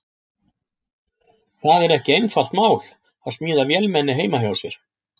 Það er ekki einfalt mál að smíða vélmenni heima hjá sér.